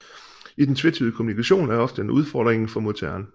I den tvetydige kommunikation er ofte en udfordringen for modtageren